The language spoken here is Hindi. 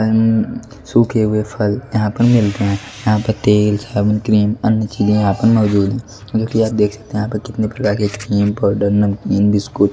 सूखे हुए फल यहां पर मिलते हैं यहां पर तेल साबुन क्रीम अन्य चीजें यहां पर मौजूद है जो कि आप देख सकते हैं यहां पर कितने प्रकार के क्रीम पाउडर इसको --